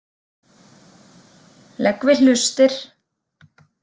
Legg við hlustir.